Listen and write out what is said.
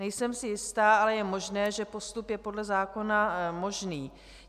Nejsem si jista, ale je možné, že postup je podle zákona možný.